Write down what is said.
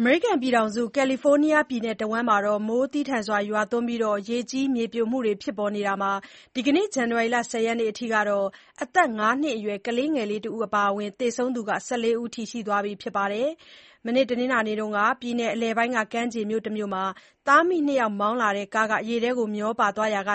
အမေရိကန်ပြည်ထောင်စု ကာလီဖိုးနီးယားပြည်နယ်တဝန်း မိုးသည်းထန်စွာရွားသွန်းပြီး ရေကြီး၊ မြေပြိုမှုတွေ ဖြစ်ပေါ်နေတာမှာ ဒီကနေ့ ဇန်နဝါရီလ ၁၀ ရက်နေ့အထိ အသက် ၅ နှစ်အရွယ် ကလေးငယ်လေးတဦး အပါအဝင် သေဆုံးသူ ၁၄ ဦးရှိသွားပြီ ဖြစ်ပါတယ်။ တနင်္လာနေ့မှာ ပြည်နယ်အလယ်ပိုင်းက ကမ်းခြေမြို့မှာ သားအမိ ၂ ယောက်မောင်းလာတဲ့ကား ရေထဲမျောပါသွားရာက